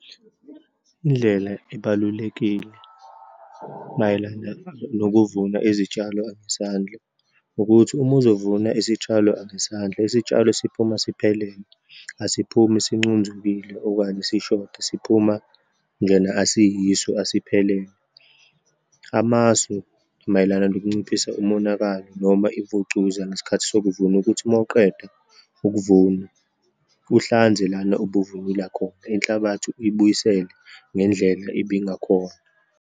Indlela ebalulekile mayelana nokuvuna izitshalo ngesandla ukuthi, uma uzovuna isitshalo ngesandla, isitshalo siphuma siphelele, asiphumi sincunzukile okanye sishoda, siphuma njena asiyiso asiphelele. Amasu mayelana nokunciphisa umonakalo noma ivucuza ngesikhathi sokuvuna ukuthi uma uqeda ukuvuna, uhlanze lana obuvunula khona, inhlabathi uyibuyisele ngendlela ibingakhona.